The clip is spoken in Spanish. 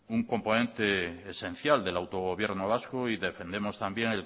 un componente esencial del gobierno vasco y defendemos también